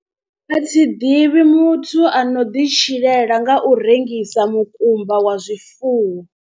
A thi ḓivhi muthu ano ḓitshilela nga u rengisa mukumba wa zwifuwo.